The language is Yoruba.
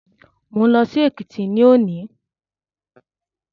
Mo ń lọ sí Èkìtì ní òní